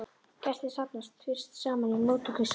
Gestir safnast fyrst saman í móttökusal.